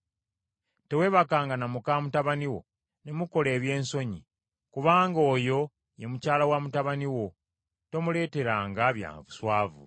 “ ‘Teweebakanga na muka mutabani wo ne mukola ebyensonyi; kubanga oyo ye mukyala wa mutabani wo; tomuleeteranga bya buswavu.